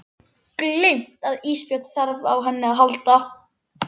Gleymt að Ísbjörg þarf á henni að halda.